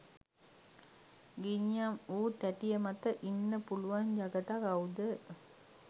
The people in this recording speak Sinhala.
ගිනියම් වූ තෑටිය මත ඉන්න පුලුවන් ජගතා කව්ද?